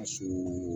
A su